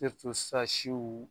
E bi to sisan siw